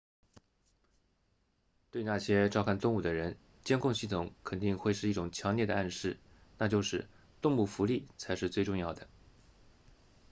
对那些照看动物的人监控系统肯定会是一种强烈的暗示那就是动物福利才是最重要的